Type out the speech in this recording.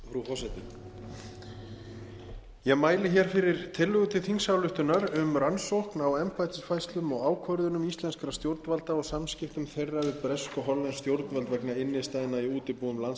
frú forseti ég mæli hér fyrir tillögu til þingsályktunar um rannsókn á embættisfærslum og ákvörðunum íslenskra stjórnvalda og samskiptum þeirra við bresk og hollensk stjórnvöld vegna innstæðna í útibúum landsbanka